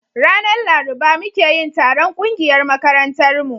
ranar laruba muke yin taron ƙungiyar makarantar mu